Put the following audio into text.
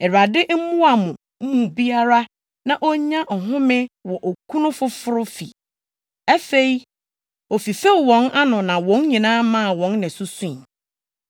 Awurade mmoa mo mu biara na onya ɔhome wɔ okunu foforo fi.” Afei, ofifew wɔn ano na wɔn nyinaa maa wɔn nne so sui.